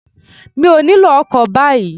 Mi ò nílò ọkọ̀ báyìí